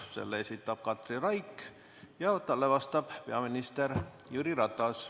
Selle esitab Katri Raik ja talle vastab peaminister Jüri Ratas.